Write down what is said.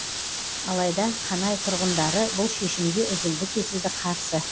алайда қанай тұрғындары бұл шешімге үзілді кесілді қарсы